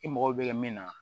I mago bɛ min na